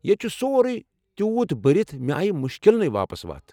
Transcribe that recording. ییٚتہ چھٗ سورٗیہ تیوُت بٔرِتھ ، مےٚ آیہ مٗشكِلنٕیہ واپس وتھ ۔